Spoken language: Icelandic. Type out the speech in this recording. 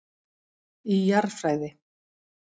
Í Jarðfræði.